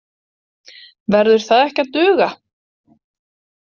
Verður það ekki að duga?